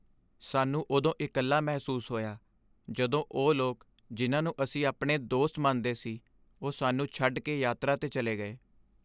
ਸਾਨੂੰ ਉਦੋਂ ਇਕੱਲਾ ਮਹਿਸੂਸ ਹੋਇਆ ਜਦੋਂ ਉਹ ਲੋਕ ਜਿਨ੍ਹਾਂ ਨੂੰ ਅਸੀਂ ਆਪਣੇ ਦੋਸਤ ਮੰਨਦੇ ਸੀ ਉਹ ਸਾਨੂੰ ਛੱਡ ਕੇ ਯਾਤਰਾ 'ਤੇ ਚਲੇ ਗਏ।